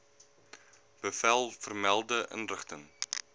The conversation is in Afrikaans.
bevel vermelde inrigting